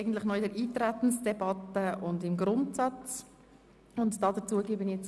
Ich sehe, dass sich Grossrat Trüssel gemeldet hat.